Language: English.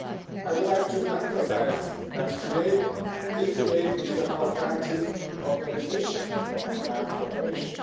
I would like to emphasise that, today, this debate is about granting authorisation for enhanced cooperation.